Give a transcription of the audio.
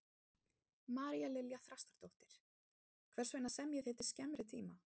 María Lilja Þrastardóttir: Hvers vegna semjið þið til skemmri tíma?